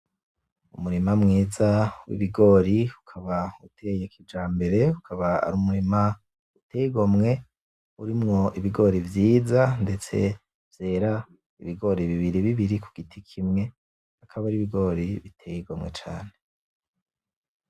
Umurima mwiza w'ibigori ukaba uteye kijambere, ukaba ari umurima uteye igomwe urimwo ibigori vyiza ndetse vyera, ibigori bibiri bibiri kugiti kimwe akaba aribigori biteye igomwe cane.